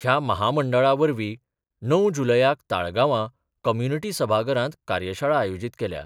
ह्या महामंडळा वरवीं णव जुलयाक ताळगांवां कम्युनिटी सभाघरांत कार्यशाळा आयोजीत केल्या.